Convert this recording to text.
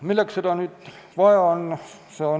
Milleks seda vaja on?